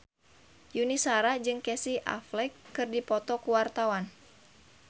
Yuni Shara jeung Casey Affleck keur dipoto ku wartawan